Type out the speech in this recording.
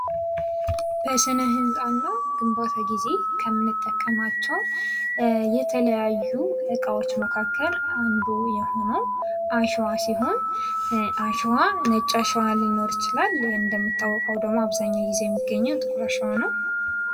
በስነ ህንፃና ግንባታ ጊዜ ከምንጠቀማቸው የተለያዩ እቃዎች መካከል አንዱ የሆነው አሸዋ ሲሆን አሸዋ ነጭ አሸዋ ሊኖር ይችላል እንደሚታወቀው ደግሞ አብዛኛውን ጊዜ የሚገኘው ጥቁር አሸዋ ነው።